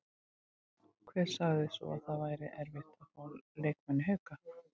Hver sagði svo að það væri erfitt að fá leikmenn í Hauka?